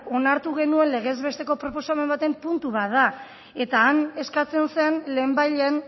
onartu genuen legez besteko proposamen baten puntu bat da eta han eskatzen zen lehenbailehen